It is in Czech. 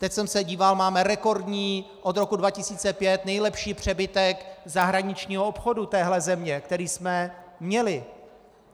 Teď jsem se díval, máme rekordní, od roku 2005 nejlepší přebytek zahraničního obchodu téhle země, který jsme měli.